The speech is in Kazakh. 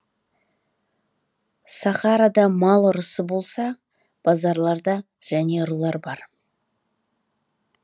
сахарада мал ұрысы болса базарларда және ұрылар бар